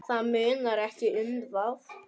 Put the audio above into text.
Það munar ekki um það.